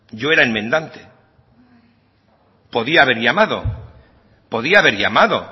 yo era enmendante podía haber llamado